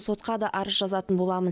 сотқа да арыз жазатын боламын